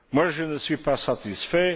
Je ne suis pas satisfait.